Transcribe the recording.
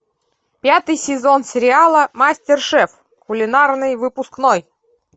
пятый сезон сериала мастершеф кулинарный выпускной